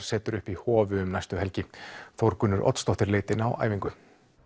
setur upp í Hofi um næstu helgi Þórgunnur Oddsdóttir leit inn á æfingu